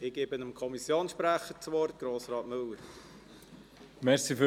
Ich gebe dem Kommissionssprecher, Grossrat Müller, das Wort.